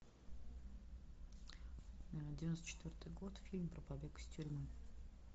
девяносто четвертый год фильм про побег из тюрьмы